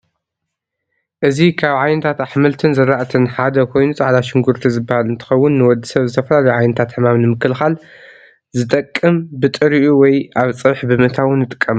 እዚ ካብ ዓይነታት አሕምልትን ዝርአትን ሐደ ኮይኑ ፃዕዳ ሽጉርቲ ዝበሃል እንትኸውን ንወድሰብ ዝተፈላለዩ ዓይነታት ሕማም ንምክልኻል ዝጠቅም ብጥሪኡ ወይ አብ ፀብሒ ብምእታው ንጥቀመሉ።